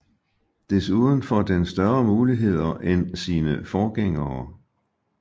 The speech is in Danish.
Desuden får den større muligheder end sine forgængere